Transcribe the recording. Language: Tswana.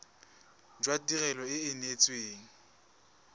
jwa tirelo e e neetsweng